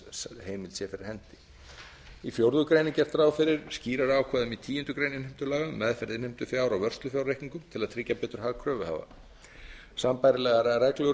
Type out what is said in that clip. sé fyrir hendi í fjórða grein er gert ráð fyrir skýrari ákvæðum í tíundu greinar innheimtulaga um meðferð innheimtufjár á vörslufjárreikningum til að tryggja betur hag kröfuhafa sambærilegar reglur